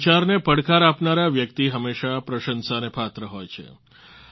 આ વિચારને પડકાર આપનારા વ્યક્તિ હંમેશા પ્રશંસાને પાત્ર હોય છે